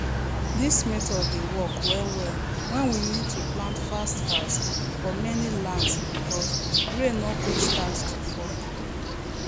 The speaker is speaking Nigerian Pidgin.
this method dey work well well when we need to plant fast fast for many lands because rain no quick start to fall